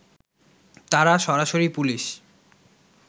তারা সরাসরি পুলিশ